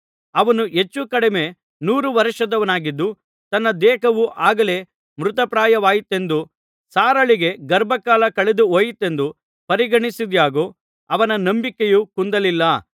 ಅವನು ಹೆಚ್ಚು ಕಡಿಮೆ ನೂರು ವರ್ಷದವನಾಗಿದ್ದು ತನ್ನ ದೇಹವು ಆಗಲೇ ಮೃತಪ್ರಾಯವಾಯಿತೆಂದೂ ಸಾರಳಿಗೆ ಗರ್ಭಕಾಲ ಕಳೆದು ಹೋಯಿತೆಂದು ಪರಿಗಣಿಸಿದ್ದಾಗ್ಯೂ ಅವನ ನಂಬಿಕೆಯು ಕುಂದಲಿಲ್ಲ